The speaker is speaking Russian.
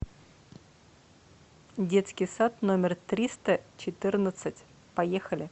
детский сад номер триста четырнадцать поехали